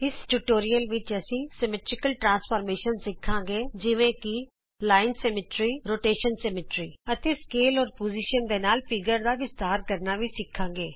ਇਸ ਟਯੂਟੋਰਿਅਲ ਵਿਚ ਅਸੀਂ ਸਮਮਿਤੀ ਰੂਪਾਂਤਰ ਸਿੱਖਾਂਗੇ ਜਿਵੇਂ ਕਿ ਰੇਖਾ ਸਮਮਿਤੀ ਕਰ ਸਮਮਿਤੀ ਅਤੇ ਮਾਪ ਤੇ ਸਥਿਤੀ ਦੇ ਨਾਲ ਆਕਾਰ ਦਾ ਵਿਸਤਾਰ ਕਰਨਾ ਵੀ ਸਿੱਖਾਂਗੇ